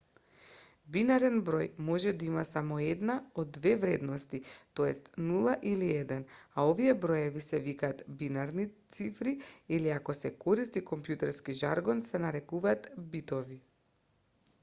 бинарен број може да има само една од две вредности т.е. 0 или 1 а овие броеви се викаат бинарни цифри или ако се користи компјутерски жаргон се нарекуваат битови